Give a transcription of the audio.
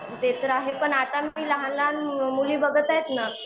ते तर आहे पण आता मी लहान लहान मुली बघत आहेत न